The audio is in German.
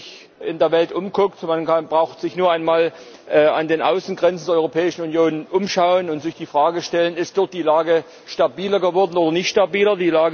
Wenn man sich in der Welt umsieht man braucht sich nur einmal an den Außengrenzen der Europäischen Union umzuschauen und sich die Frage zu stellen Ist dort die Lage stabiler geworden oder nicht stabiler?